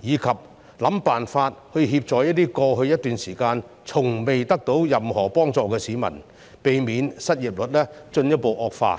以及設法協助在過去一段時間從未獲得任何幫助的市民，避免失業率進一步惡化。